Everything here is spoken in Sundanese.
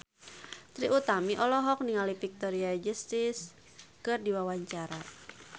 Trie Utami olohok ningali Victoria Justice keur diwawancara